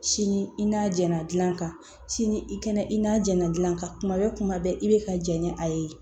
Sini i n'a jɛnna gilan kan sini i kɛnɛ i n'a jɛnna dilan ka kuma bɛ kuma bɛɛ i bɛ ka jɛn ni a ye